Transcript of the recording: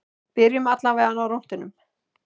Byrjum allavega á rúntinum.